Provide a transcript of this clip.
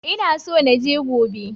Ina so na je gobe.